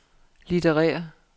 litterære